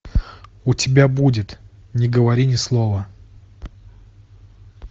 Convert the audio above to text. у тебя будет не говори ни слова